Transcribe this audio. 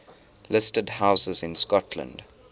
listed houses in scotland